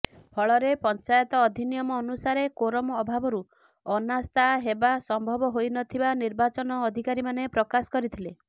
ଫଳରେ ପଂଚାୟତ ଅଧିନିୟମ ଅନୁସାରେ କୋରମ ଅଭାବରୁ ଅନାସ୍ଥା ହେବା ସମ୍ଭବ ହୋଇନଥିବା ନିର୍ବାଚନ ଅଧିକାରୀମାନେ ପ୍ରକାଶ କରିଥିଲେ